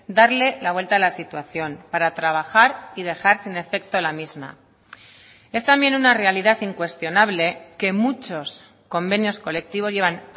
darle la vuelta a la situación para trabajar y dejar sin efecto la misma es también una realidad incuestionable que muchos convenios colectivos llevan